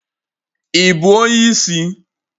Ị bụ onye isi?